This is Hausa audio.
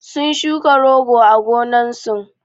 sun shuka rogo a gonnan sun